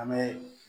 An bɛ